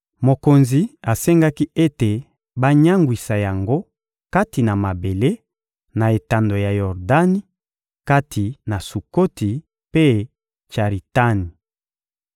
Mokonzi asengaki ete banyangwisa yango kati na mabele, na etando ya Yordani, kati na Sukoti mpe Tsaritani.